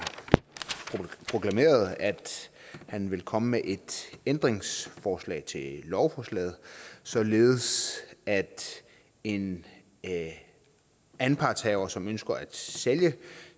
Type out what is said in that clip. proklameret at han vil komme med et ændringsforslag til lovforslaget således at en anpartshaver som ønsker at sælge